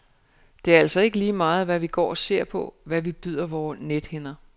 Det er altså ikke lige meget, hvad vi går og ser på, hvad vi byder vore nethinder.